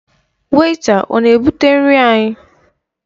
Wèịta ọ na-ebụte nri anyị?